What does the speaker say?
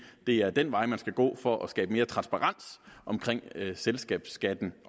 det er den vej man skal gå for at skabe mere transparens om selskabsskatten